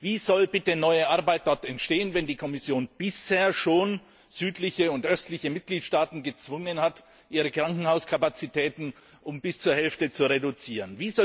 Wie soll dort bitte neue Arbeit entstehen, wenn die Kommission bisher schon südliche und östliche Mitgliedstaaten gezwungen hat, ihre Krankenhauskapazitäten um bis zur Hälfte zu reduzieren?